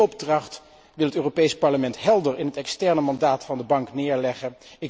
Die opdracht wil het Europees Parlement helder in het externe mandaat van de Bank neerleggen.